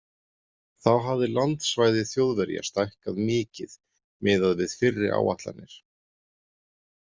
Þá hafði landsvæði Þjóðverja stækkað mikið miðað við fyrri áætlanir.